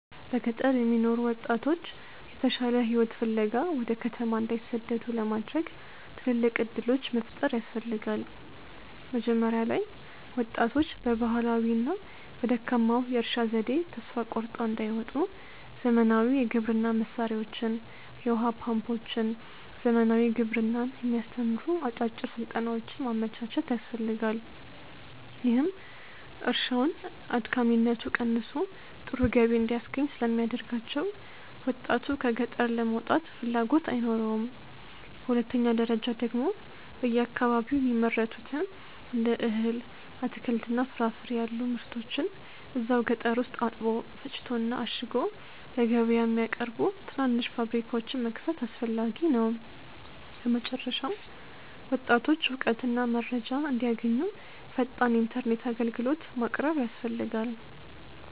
በገጠር የሚኖሩ ወጣቶች የተሻለ ሕይወት ፍለጋ ወደ ከተማ እንዳይሰደዱ ለማድረግ ትልልቅ ዕድሎች መፍጠር ያስፈልጋ። መጀመሪያ ላይ ወጣቶች በባህላዊውና በደካማው የእርሻ ዘዴ ተስፋ ቆርጠው እንዳይወጡ ዘመናዊ የግብርና መሣሪያዎችን፣ የውኃ ፓምፖችንና ዘመናዊ ግብርናን የሚያስተምሩ አጫጭር ሥልጠናዎችን ማመቻቸት ያስፈልጋል፤ ይህም እርሻውን አድካሚነቱ ቀንሶ ጥሩ ገቢ እንዲያስገኝ ስለሚያደርጋቸው ወጣቱ ከገጠር ለመውጣት ፍላጎት አይኖረውም። በሁለተኛ ደረጃ ደግሞ በየአካባቢው የሚመረቱትን እንደ እህል፣ አትክልትና ፍራፍሬ ያሉ ምርቶችን እዛው ገጠር ውስጥ አጥቦ፣ ፈጭቶና አሽጎ ለገበያ የሚያቀርቡ ትናንሽ ፋብሪካዎችን መክፈት አስፈላጊ ነው። በመጨረሻም ወጣቶች እውቀትና መረጃ እንዲያገኙ ፈጣን ኢተርኔት አግልግሎት ማቅረብ ያስፈልጋል